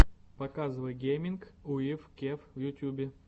показывай гейминг уив кев в ютюбе